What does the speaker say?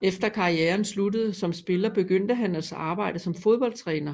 Efter karrieren sluttede som spiller begyndte han at arbejde som fodboldtræner